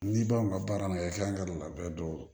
N'i b'aw ka baara la i tila don a bɛɛ don